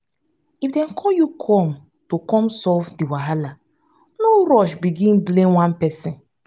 if dem call you come to come solve di wahala no rush begin blame one person